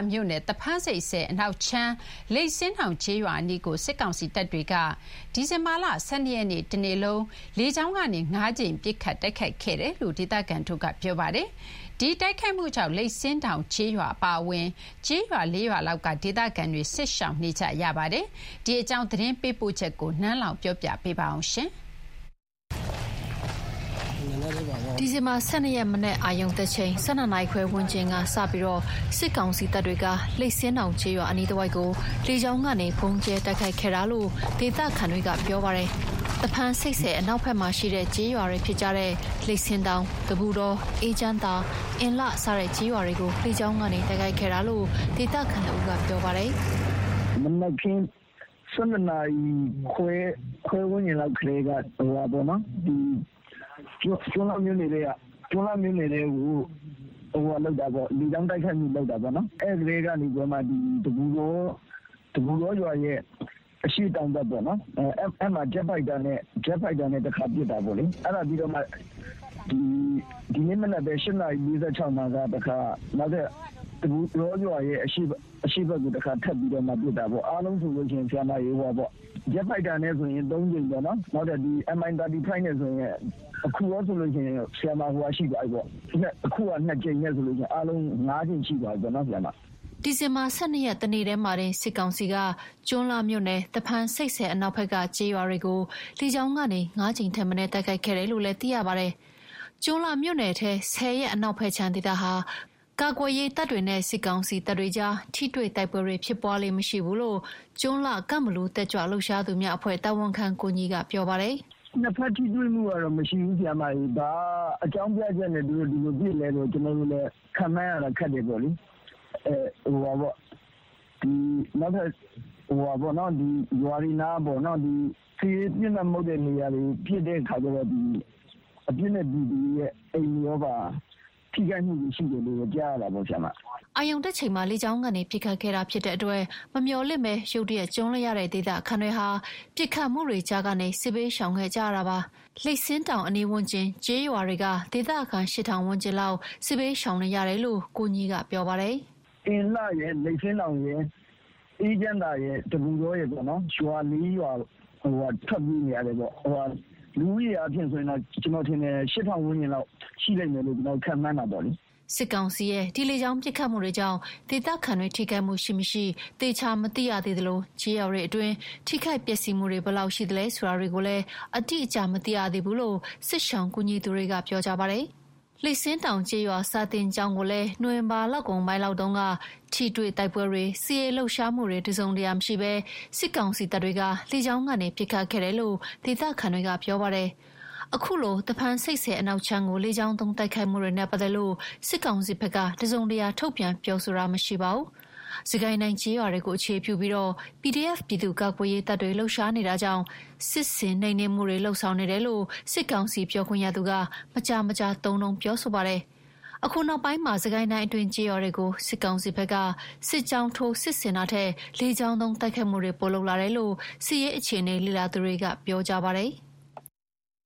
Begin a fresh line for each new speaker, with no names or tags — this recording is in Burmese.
မြို့နယ် သဖန်းဆိပ်ဆည်အနောက်ခြမ်း လိပ်ဆင်းတောင် ကျေးရွာအနီးကို စစ်ကောင်စီတပ်တွေက ဒီဇင်ဘာ ၁၂ ရက်နေ့ တနေ့လုံး လေကြောင်းကနေ ၅ ကြိမ် ပစ်ခတ် တိုက်ခိုက်ခဲ့တယ်လို့ ဒေသခံတွေက ပြောပါတယ်။ ဒီတိုက်ခိုက်မှုကြောင့် လိပ်ဆင်းတောင်ကျေးရွာအပါအဝင် ကျေးရွာ ၄ ရွာလောက်က ဒေသခံတွေ စစ်ရှောင်နေကြရပါတယ်။ ဒီအကြောင်း သတင်းပေးပိုချက်ကို နန်းလောဝ်က တင်ပြပေးထားပါတယ်။ ဒီဇင်ဘာ ၁၂ ရက် မနက် အာရုံတက်ချိန် ၁၂ နာရီခွဲ ဝန်းကျင်က စပြီး စစ်ကောင်စီတပ်တွေက လိပ်ဆင်းတောင်ကျေးရွာ အနီးတဝိုက်ကို လေကြောင်းကနေ ဗုံးကြဲတိုက်ခိုက်ခဲ့ကြောင်း ဒေသခံတွေကပြောပါတယ်။ သဖန်းဆိပ်ဆည် အနောက်ဘက်က လိပ်ဆင်းတောင်၊ တပုတော၊ အေးချမ်းသာ၊ အင်လှ စတဲ့ ကျေးရွာတွေကို လေကြောင်းကနေ တိုက်ခိုက်ခဲ့တာလို့ ဒေသခံတဦးက ပြောပါတယ်။
“မနက်ခင်း ၁၂ နာရီခွဲ ဝန်းကျင်တည်းကပေါ့နော် ကျွန်းလှမြို့နယ်ထဲကို လေကြောင်းတိုက်ခိုက်မှု လုပ်တာပေါ့။ အဲ့ကတည်းကနေပြီးတော့မှ တပုတောရွာရဲ့ အရှေ့တောင်ဘက် အဲ့ဒီကို ဂျက်ဖိုက်တာနဲ့ တခါပစ်တာပေါ့လေ။ ဒီမနက်ပဲ ၈ နာရီ ၄၆ မှာ နောက်ထပ် တပုတောရွာရဲ့ အရှေ့ဘက်ကိုပဲ တခါ ထပ်ပစ်တာပေါ့။ အားလုံးဆိုရင် ဂျက်ဖိုက်တာနဲ့ ၃ ကြိမ်၊ နောက်ထပ် Mi 35 နဲ့ဆိုရင် အခု ၃ ကြိမ်နဲ့ဆိုရင် အားလုံး ၅ ကြိမ် ရှိသွားပြီပေါ့။
” ဒီဇင်ဘာ ၁၂ ရက် တနေ့တည်းမှာတင် စစ်ကောင်စီက ကျွန်းလှမြို့နယ် သဖန်ဆိပ်ဆည်အနောက်ဘက်က ကျေးရွာတွေကို လေကြောင်းကနေ ၅ ကြိမ်ထက်မနည်း တိုက်ခိုက်ခဲ့တယ်လို့ သိရပါတယ်။ ကျွန်းလှမြို့နယ်ထဲ ဆည်ရဲ့ အနောက်ဘက်ခြမ်းဒေသဟာ ကာကွယ်ရေးတပ်တွေနဲ့ စစ်ကောင်စီတပ်တွေကြား ထိတွေ့တိုက်ပွဲတွေ ဖြစ်ပွားလေ့မရှိ ဘူးလို့ ကျွန်းလှ- ကန့်ဘလူ တက်ကြွလှုပ်ရှားသူများအဖွဲ့ တာဝန်ခံ ကိုညီက ပြောပါတယ်။
“နှစ်ဘက်ထိတွေ့မှုကတော့ မရှိဘူး၊ ဘာအကြောင်းပြချက်နဲ့ သူတို့ ဒီလိုပစ်သလဲဆိုတာတော့ ကျနော်တို့ခန့်မှန်းရတာ ခက်တယ်ပေါ့လေ။ ဒီလို နောက်ထပ်ရွာတွေနားပေါ့။ စစ်ရေးပစ်မှတ် မဟုတ်တဲ့နေရာတွေကို ပစ်တဲ့ခါကျတော့ အပြစ်မဲ့ ပြည်သူတွေရဲ့အိမ်တွေပါ ထိခိုက်တာတွေရှိတယ်လို့တော့ ကြားရတာပေါ့။
” အာရုံတက်ချိန်မှာ လေကြောင်းကနေ ပစ်ခတ်ခဲ့တာဖြစ်တဲ့အတွက် မမျှော်လင့်ဘဲ ရုတ်တရက် ကြုံလိုက်ရတဲ့ဒေသခံတွေဟာ ပစ်ခတ်မှုတွေကြားကနေ စစ်ဘေးရှောင်ခဲ့ကြရတာဖြစ်ပါတယ်။ လိပ်ဆင်းတောင် အနီးဝန်းကျင်ကျေးရွာတွေက ဒေသခံ ၈,၀၀၀ ဝန်းကျင်လောက် စစ်ဘေးရှောင်နေရတယ်လို့ ကိုညီက ပြောပါတယ်။
“အင်လှရယ်၊ လိပ်ဆင်းတောင်ရယ်၊ အေးချမ်းသာရယ်၊ တပုတောရယ်ပေါ့နော်။ ရွာ ၄ ရွာလောက်က ထွက်ပြေနေရတယ်ပေါ့။ လူဦးရေဆိုရင်တော့ ကျနော်ထင်တယ်။ ၈,၀၀၀ ဝန်းကျင်လောက် ရှိလိမ့်မယ်လို့ ကျနော်တို့ ခန့်မှန်းတယ်ပေါ့။
” စစ်ကောင်စီရဲ့ ဒီလေကြောင်းပစ်ခတ်မှုကြောင့် ဒေသခံတွေ ထိခိုက်မှုရှိမရှိ သေချာမသိရသေးသလို ကျေးရွာတွေအတွင်း ထိခိုက်ပျက်စီးမှုတွေ ဘယ်လောက်ရှိသလဲဆိုတာတွေကိုလည်း အတိအကျ မသိရသေးဘူးလို့ စစ်ရှောင်ကူညီသူတွေက ပြောကြပါတယ်။ စစ်ကောင်စီတပ်တွေဟာ လိပ်ဆင်းတောင်ကျေးရွာ စာသင်ကျောင်းကိုလည်း နိုဝင်ဘာလကုန်ပိုင်းလောက်တုန်းက ထိတွေ့တိုက်ပွဲတွေ၊ စစ်ရေးလှုပ်ရှားမှုတွေ တစုံတရာ မရှိဘဲ လေကြောင်းကနေ ပစ်ခတ်ခဲ့တယ်လို့ ဒေသခံတွေကပြောပါတယ်။ အခုလို သဖန်းဆိပ်ဆည်အနောက်ခြမ်းကို လေကြောင်းသုံးတိုက်ခိုက်မှုနဲ့ပတ်သက်လို့ စစ်ကောင်စီဘက်က တစုံတရာထုတ်ပြန်ပြောဆိုတာမရှိပါဘူး။ စစ်ကိုင်းတိုင်းကျေးရွာတွေကို အခြေပြုပြီး PDF ပြည်သူ့ကာကွယ်ရေးတပ်တွေ လှုပ်ရှားနေတာကြောင့် စစ်ဆင်နှိမ်နင်းမှုနေတယ်လို့ စစ်ကောင်စီပြောခွင့်ရသူက မကြာမကြာသုံးနှုန်းပြောဆိုပါတယ်။ အခုနောက်ပိုင်းမှာ စစ်ကိုင်းတိုင်းအတွင်း ကျေးရွာတွေကို စစ်ကောင်စီဘက်က စစ်ကြောင်းထိုး စစ်ဆင်တာထက်၊ လေကြောင်းသုံးတိုက်ခိုက်မှုတွေ ပိုလုပ်လာတယ်လို့ စစ်အခြေအနေလေ့လာသူတွေက ပြောကြပါတယ်။